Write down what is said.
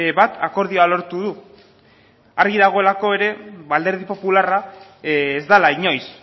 batek akordioa lortu du argi dagoelako ere alderdi popularra ez dela inoiz